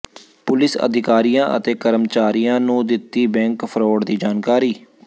police ਅਧਿਕਾਰੀਆਂ ਅਤੇ ਕਰਮਚਾਰੀਆਂ ਨੂੰ ਦਿੱਤੀ ਬੈਂਕ ਫਰਾਡ ਦੀ ਜਾਣਕਾਰੀ